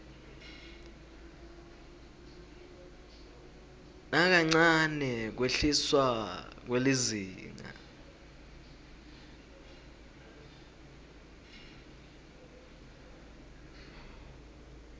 nakancane kwehliswa kwelizinga